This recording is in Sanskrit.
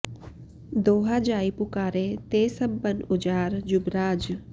दोहा जाइ पुकारे ते सब बन उजार जुबराज